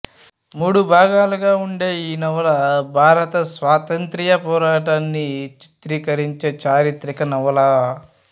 మూడు భాగాలుగా ఉండే ఈ నవల భారతస్వాతంత్ర్య పోరాటాన్ని చిత్రీకరించే చారిత్రిక నవల